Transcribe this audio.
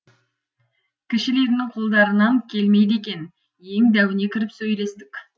кішілерінің қолдарынан келмейді екен ең дәуіне кіріп сөйлестік